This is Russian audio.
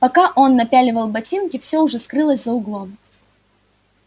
пока он напяливал ботинки всё уже скрылось за углом